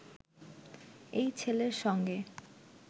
এই ছেলের সঙ্গে